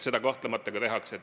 Seda kahtlemata ka tehakse.